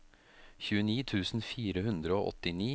tjueni tusen fire hundre og åttini